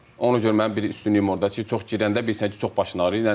Ona görə mənim bir üstünlüyüm ordadır ki, çox girəndə bilirsən ki, çox başın arıyır.